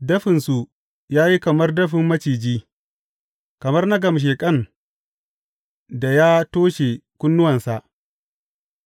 Dafinsu ya yi kamar dafin maciji, kamar na gamsheƙan da ya toshe kunnuwansa,